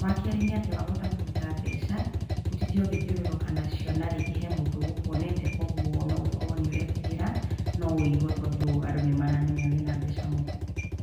Wa kerĩ, nĩ atĩ wa hota kũruta mbeca, ũtinde ũgĩthiũrũrũka nacio narĩngĩ he mũndũ ũgũkuonete kuoguo no ũkorwo nĩ ũretigĩra no wũiyo tondũ andũ nĩ maramenya wĩna mbeca mũhuko.